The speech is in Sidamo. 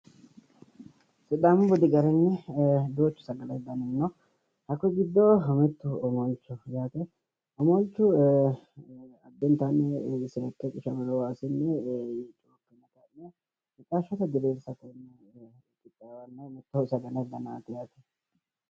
Sidaamu budi garinni duuchu sagalete dani no. Hakkuyi giddo omolchoho yaate. Omolchu addintanni seekke qishamino waasinni mixashshote diriirsineenna qixxaawanno mitto sagalete danaati yaate.